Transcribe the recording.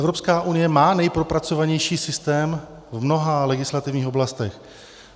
Evropská unie má nejpropracovanější systém v mnoha legislativních oblastech.